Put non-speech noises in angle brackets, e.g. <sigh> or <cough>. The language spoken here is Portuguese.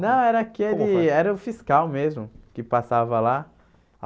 Não, era aquele... <unintelligible> Era o fiscal mesmo, que passava lá.